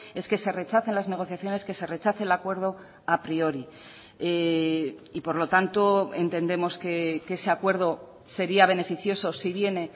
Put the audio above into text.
es que se rechacen las negociaciones que se rechace el acuerdo a priori por lo tanto entendemos que ese acuerdo sería beneficioso si viene